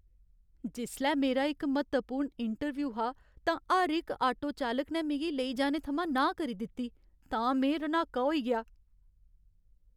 जिसलै मेरा इक म्हत्तवपूर्ण इंटरव्यू हा तां हर इक आटो चालक ने मिगी लेई जाने थमां नांह् करी दित्ती तां में रन्हाका होई गेआ।